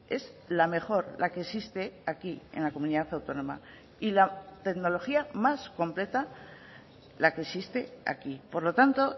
es la mejor la que existe aquí en la comunidad autónoma y la tecnología más completa la que existe aquí por lo tanto